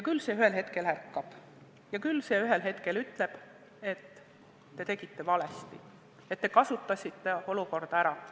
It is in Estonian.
Küll see ühel hetkel ärkab ja küll see ühel hetkel ütleb, et te tegite valesti, et te kasutasite olukorda ära.